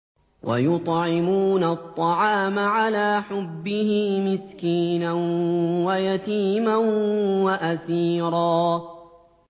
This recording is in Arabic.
وَيُطْعِمُونَ الطَّعَامَ عَلَىٰ حُبِّهِ مِسْكِينًا وَيَتِيمًا وَأَسِيرًا